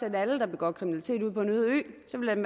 alle der begår kriminalitet ud på en øde ø så kan